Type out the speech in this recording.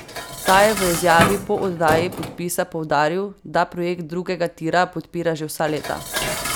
Ta je v izjavi po oddaji podpisa poudaril, da projekt drugega tira podpira že vsa leta.